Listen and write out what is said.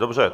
Dobře.